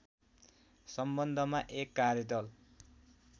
सम्बन्धमा एक कार्यदल